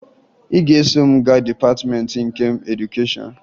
Ị ga-eso m gaa Dịpatịmeentị nke Edukeshọn